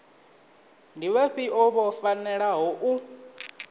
ndi vhafhio vho fanelaho u